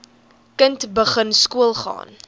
kind begin skoolgaan